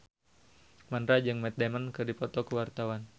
Mandra jeung Matt Damon keur dipoto ku wartawan